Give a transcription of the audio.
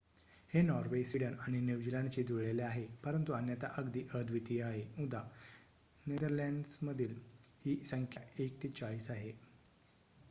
हे Norway Sweden आणि न्यूझीलंडशी जुळलेले आहे परंतु अन्यथा अगदी अद्वितीय आहे उदा. नेदरलँड्समध्ये ही संख्या एक ते चाळीस आहे